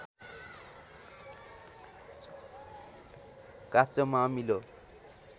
काँचोमा अमिलो